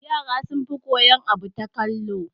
Yara sun fi koyan abu ta kallo